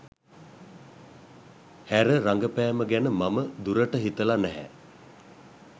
හැර රඟපෑම ගැන මම දුරට හිතලා නැහැ.